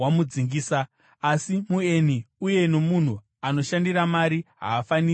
asi mueni uye nomunhu anoshandira mari haafaniri kuidya.